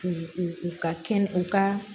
U u u ka kɛnɛ u ka